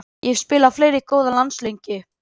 Ég hef spilað fleiri góða landsleiki.